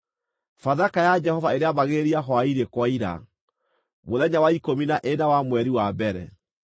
Bathaka ya Jehova ĩrĩambagĩrĩria hwaĩ-inĩ kwaira, mũthenya wa ikũmi na ĩna wa mweri wa mbere.